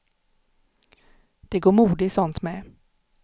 Det går mode i sånt med.